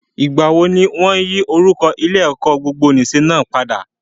Ìgbàwo ni wọ́n yí orúkọ Ilé-ẹ̀kọ́ gbogbonìṣe náà padà?